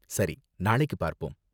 சரி, நாளைக்கு பார்ப்போம்.